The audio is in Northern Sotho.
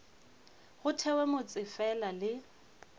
go thewe motse fela le